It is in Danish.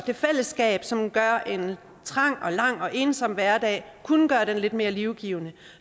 det fællesskab som kunne gøre en trang og lang og ensom hverdag lidt mere livgivende